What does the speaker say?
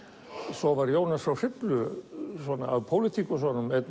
svo var Jónas frá Hriflu af pólitíkusunum einn